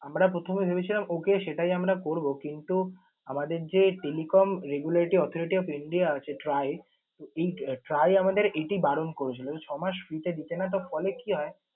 আমরা প্রথমে ভেবেছিলাম okay সেটাই আমরা করবো কিন্তু আমাদের যে telecom regularity authority of india আছে TRAI, তো এই TRAI আমাদের এটি বারণ করেছিল যে, ছয় মাস free তে দিতে না। তার ফলে কি হয়?